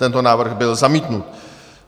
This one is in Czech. Tento návrh byl zamítnut.